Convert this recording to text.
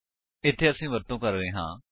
ਇੱਥੇ ਅਸੀ ਵਰਤੋ ਕਰ ਰਹੇ ਹਾਂ